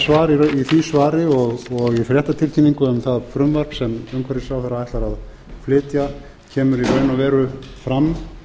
þinginu í því svari og í fréttatilkynningu um það frumvarp sem umhverfisráðherra ætlar að flytja kemur í raun og veru fram